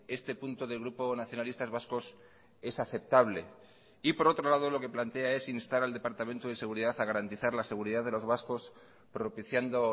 este punto del grupo nacionalistas vascos es aceptable y por otro lado lo que plantea es instar al departamento de seguridad a garantizar la seguridad de los vascos propiciando